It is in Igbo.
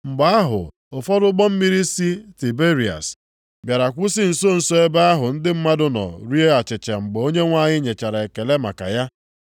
Mgbe ahụ ụfọdụ ụgbọ mmiri si Tiberịas bịara kwụsị nso nso ebe ahụ ndị mmadụ nọ rie achịcha mgbe Onyenwe anyị nyechara ekele maka ya.